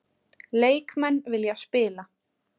Leikmenn vilja spila